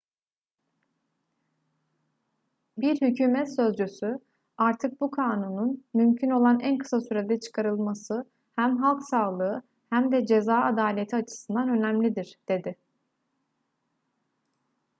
bir hükümet sözcüsü artık bu kanunun mümkün olan en kısa sürede çıkarılması hem halk sağlığı hem de ceza adaleti açısından önemlidir dedi